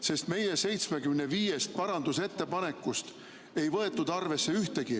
Sest meie 75 parandusettepanekust ei võetud arvesse ühtegi.